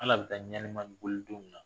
Ala bɛ taa ɲaani don min na